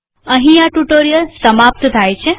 અહીં આ ટ્યુ્ટોરીઅલ સમાપ્ત થાય છે